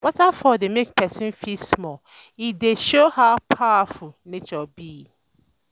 Waterfall dey make pesin feel small, e dey um show um how powerful um nature be.